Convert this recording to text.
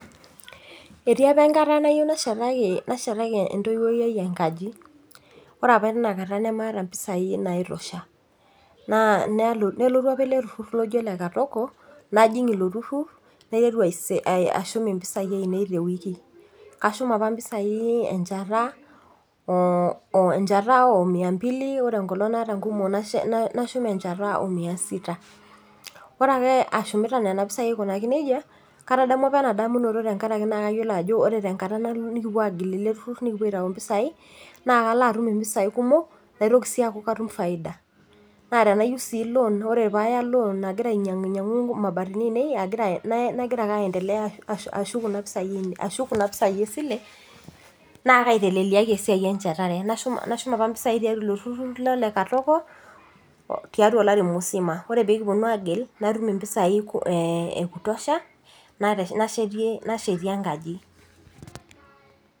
Etii apa enkata nayieu nashetaki entoiwuoi ai enkaji. Ore apa tinakata namaata mpisai nai tosha. Nelotu apa ele turrurr loji ole katoko, najing ilo turrurr, naiteru aisev impisai ainei tewueji. Kashum apa mpisai enchata o mia mbili, ore enkolong naata nkumok nashum enchata o mia sita. Ore ake ashumita nena pisai aikunaki nejia, katadamua apa ina damunoto tenkaraki naa nayiolo ajo ore tenkata nikipuo agil ele turrurr nikipuo aitau mpisai, na kalo atum impisai kumok, naitoki si aku katum faida. Na tenayieu si lon ore paya lon aigira ainyang'unyang'u imabatini ainei nagira ake aendelea ashuk kuna pisai esile, naa kaiteleliaki esiai enchatare. Nashum apa mpisai tiatua ilo turrurr lole katoko, tiatua olari musima. Ore pekiponu agil, natum impisai eku tosha, nashetie enkaji.